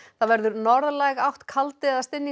það verður norðlæg átt kaldi eða